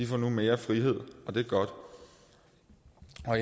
får nu mere frihed og det er godt